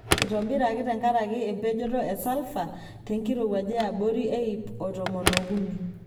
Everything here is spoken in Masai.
Eitobiraki tenkaraki empejoto e salfa tenkirowuaj eyabori e iip o tomon ookuni.